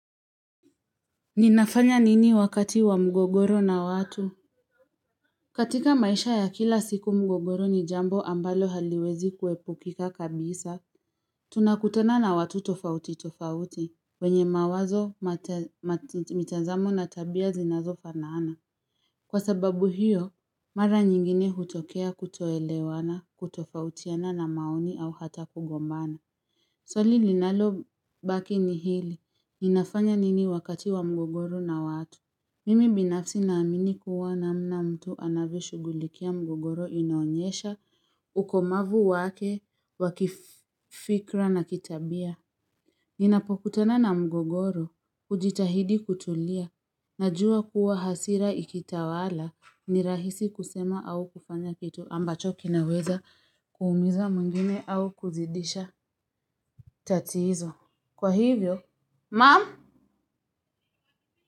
Ninafanya nini wakati wa mgogoro na watu? Katika maisha ya kila siku mgogoro ni jambo ambalo haliwezi kuepukika kabisa Tunakutana na watu tofauti tofauti, wenye mawazo, mitazamo na tabia zinazofanana. Kwa sababu hiyo, mara nyingine hutokea kutoelewana, kutofautiana na maoni au hata kugombana Swali linalobaki ni hili, ninafanya nini wakati wa mgogoro na watu? Mimi binafsi naamini kuwa namna mtu anavyoshughulikia mgogoro inaonyesha ukomavu wake wa kifikira na kitabia Ninapokutana na mgogoro hujitahidi kutulia najua kuwa hasira ikitawala ni rahisi kusema au kufanya kitu ambacho kinaweza kuumiza mwingine au kuzidisha tatizo kwa hivyo mum.